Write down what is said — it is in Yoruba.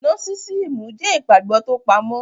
Nósísíìmù jẹ́ ìgbàgbọ́ tó pamọ́,